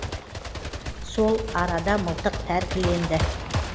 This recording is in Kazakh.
сол арада мылтық тәркіленді